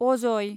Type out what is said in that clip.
Ajay